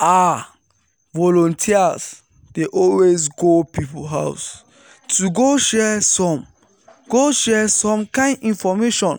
ah! volunteers dey always go people house to go share some go share some kind infomation